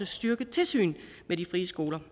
styrket tilsyn med de frie skoler